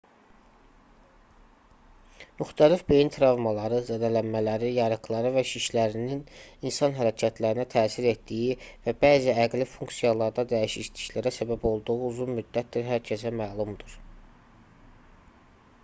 müxtəlif beyin travmaları zədələnmələri yarıqları və şişlərinin insan hərəkətlərinə təsir etdiyi və bəzi əqli funksiyalarda dəyişikliklərə səbəb olduğu uzun müddətdir hər kəsə məlumdur